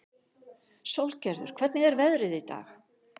Sólgerður, hvernig er veðrið í dag?